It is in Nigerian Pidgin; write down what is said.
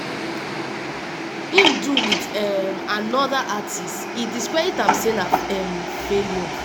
im do wit um anoda artiste e discredit am say na um failure.